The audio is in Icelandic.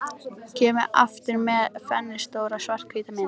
Kemur aftur með flennistóra, svarthvíta mynd.